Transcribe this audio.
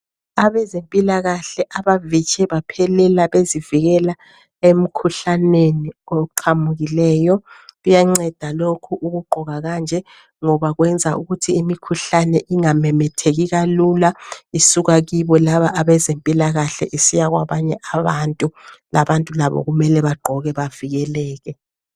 Abezempilakahle abavitshe baphelela bezivikela emkhuhlaneni oqhamukileyo. Kuyanceda lokhu ukugqoka kanje ngoba kwenza ukuthi imikhuhlane ingamemetheki kalula isuka kibo laba abezempilakahle isiya kwabanye abantu. Labantu labo kumele bagqoke bavikeleke